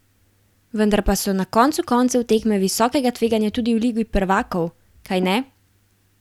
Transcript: Vendar pa so na koncu koncev tekme visokega tveganja tudi v ligi prvakov, kajne?